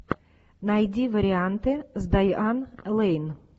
найди варианты с дайан лэйн